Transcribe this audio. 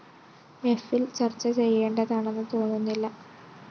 എഫില്‍ ചര്‍ച്ച ചെയ്യേണ്ടതാണെന്ന് തോന്നുന്നില്ല